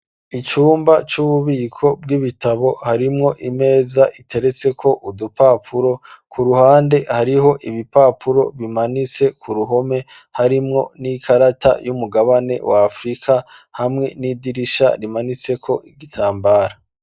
Icumba c'ububiko bw'ibitabo harimwo imeza iteretseko udupapuro, ku ruhande hariho ibipapuro bimanitse ku ruhome harimwo n'ikarata y'umugabane wa afurika, hamwe n'idirisha rimaniseko igitambara.